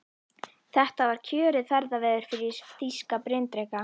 Þetta var kjörið ferðaveður fyrir þýska bryndreka.